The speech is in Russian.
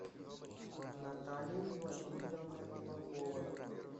натальей владимировной кулаковой